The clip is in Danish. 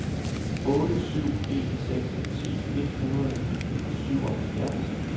otte syv en seks ti et hundrede og syvoghalvfjerds